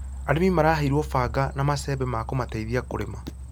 Arĩmi maraheirwo banga na macembe ma kũmateithia kũrĩma